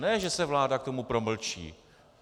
Ne že se vláda k tomu promlčí.